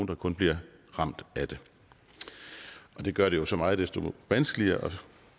der kun bliver ramt af den det gør det jo så meget desto vanskeligere at